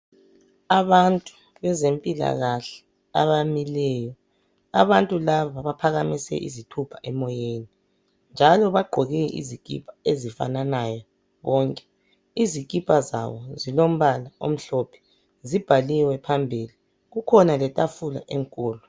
Abantu bezempilakahle abamileyo abantu laba baphakamise izithupha emoyeni njalo bagqoke izikipa ezifananayo bonke izikipa zabo ezilombala omhlophe zibhaliwe phambili kukhona letafula enkulu.